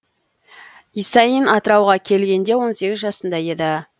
исаин атырауға келгенде он сегіз жасында еді